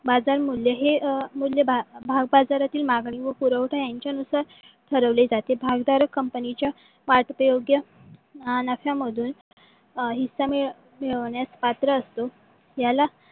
बाजार मूल्य हे अं मूल्य भाव बाजारातील मागणी व पुरवठ्यायांच्यानुसार ठरविल्या जाते. भागधारक कंपनीच्या वाटते योग्य अं नफ्यामधून हिस्सा मिळवण्यास पात्र असतो. याला